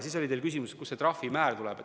Teil oli ka küsimus, kust see trahvimäär tuleb.